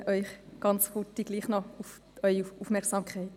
Ich bitte Sie noch einmal kurz um Ihre Aufmerksamkeit.